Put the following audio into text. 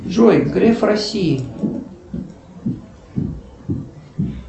джой греф россии